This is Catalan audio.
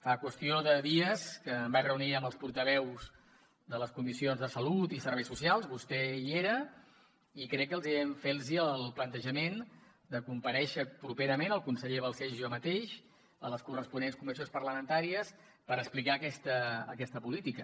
fa qüestió de dies que em vaig reunir amb els portaveus de les comissions de salut i serveis socials vostè hi era i crec que els hi vam fer el plantejament de comparèixer properament el conseller balcells i jo mateix a les corresponents comissions parlamentàries per explicar aquesta política